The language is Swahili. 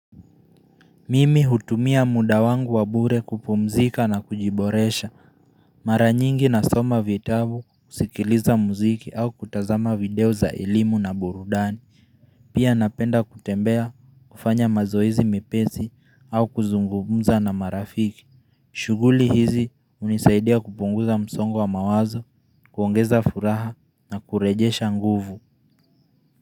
Mimi hutumia muda wangu wa bure kupumzika na kujiboresha. Mara nyingi nasoma vitabu, kusikiliza muziki au kutazama video za elimu na burudani. Pia napenda kutembea kufanya mazoezi mepesi au kuzungumza na marafiki. Shuguli hizi unisaidia kupunguza msongo wa mawazo, kuongeza furaha na kurejesha nguvu.